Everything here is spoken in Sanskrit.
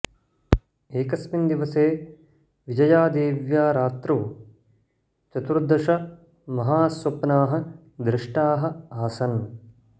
एकस्मिन् दिवसे विजयादेव्या रात्रौ चतुर्दश महास्वप्नाः दृष्टाः आसन्